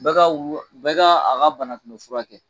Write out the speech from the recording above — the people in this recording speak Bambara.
Bɛɛ ka a ka banakunbɛ fura kɛ